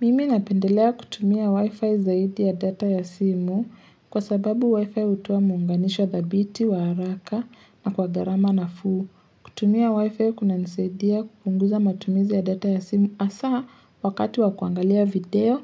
Mimi napendelea kutumia wi-fi zaidi ya data ya simu kwa sababu wi-fi utoa muunganisho thabiti wa haraka na kwa gharama nafuu. Kutumia wi-fi kunanisaidia kupunguza matumizi ya data ya simu hasaa wakati wa kuangalia video